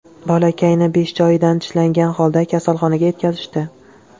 Bolakayni besh joyidan tishlangan holda kasalxonaga yetkazishdi.